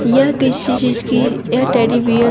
यह किसी चीज की यह टेडी बियर --